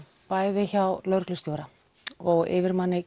bæði hjá lögreglustjóra og yfirmanni